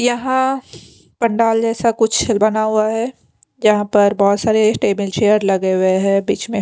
यहाँ पंडाल जैसा कुछ बना हुआ है जहाँ पर बहुत सारे सटेबल चेयर लगे हुए हैं बीच में --